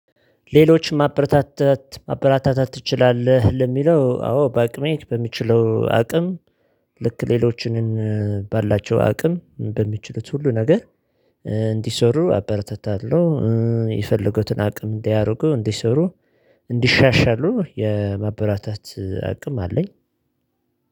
ሌሎች ማበረታታት ማበራታታት ትችላለህ ለሚለው አዎ በአቅሜ በምችለው አቅም ልክ ሌሎችንን ባላቸው አቅም በሚችሉት ሁሉ ነገር እንዲሰሩ አበረታታለሁ። የፈለጉትን አቅም እንዲያደርጉ እንዲሰሩ እንዲሻሻሉ የማበረታታት አቅም አለኝ።